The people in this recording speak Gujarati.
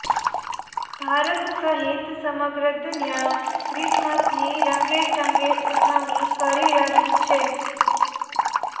ભારત સહિત સમગ્ર દુનિયા ક્રિસમસની રંગેચંગે ઉજવણી કરી રહી છે